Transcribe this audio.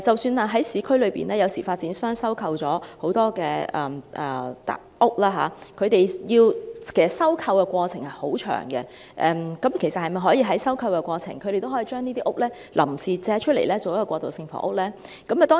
此外，在市區，有時候發展商收購樓房的過程很漫長，那麼，在收購過程中，可否也把這些單位臨時借出作過渡性房屋之用呢？